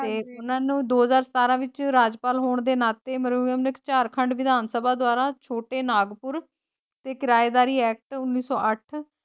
ਉੰਨਾ ਨੂੰ ਦੋ ਹਜ਼ਾਰ ਸਤਾਰਾ ਵਿਚ ਰਾਜਪਾਲ ਹੋਣ ਦੇ ਨਾਤੇ ਝਾਰਖੰਡ ਵਿਧਾਨ ਸਭਾ ਦੁਆਰਾ ਛੋਟੇ ਨਾਗਪੁਰ ਤੇ ਕਿਰਾਏਦਾਰੀ ਐਕਟ ਉਨੀ ਸੌ ਅੱਠ।